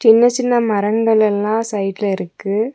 சின்ன சின்ன மரங்கள் எல்லா சைடுல இருக்கு.